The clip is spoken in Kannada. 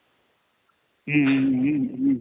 ಹ್ಮ್ಮ್ ಹ್ಮ್ಮ್ ಹ್ಮ್ಮ್